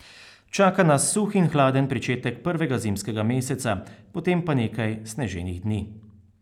Čaka nas suh in hladen pričetek prvega zimskega meseca, potem pa nekaj sneženih dni.